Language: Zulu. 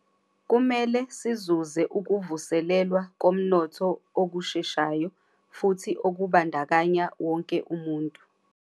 Kumele sizuze ukuvuselelwa komnotho okusheshayo futhi okubandakanya wonke umuntu.